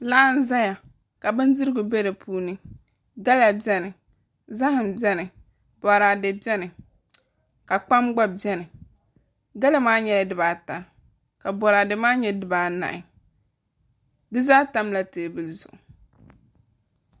Laa n ʒɛya ka bindirigu bɛ di puuni gala bɛni zaham bɛni boraadɛ bɛni ka kpam gba bɛni gala maa nyɛla dibata ka boraadɛ maa nyɛ dibanahi di zaa tamla teebuli zuɣu